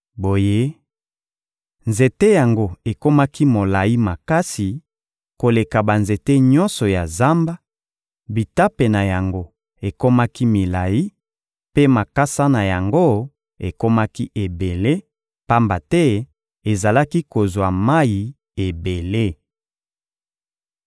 Boye, nzete yango ekomaki molayi makasi koleka banzete nyonso ya zamba; bitape na yango ekomaki milayi, mpe makasa na yango ekomaki ebele, pamba te ezalaki kozwa mayi ebele.